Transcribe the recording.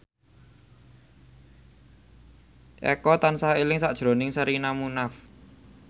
Eko tansah eling sakjroning Sherina Munaf